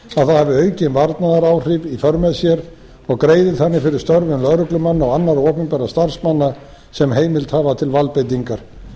að það hafi aukin varnaðaráhrif í för með sér og greiðir þannig fyrir störfum lögreglumanna og annarra opinberra starfsmanna sem heimild hafa til valdbeitingar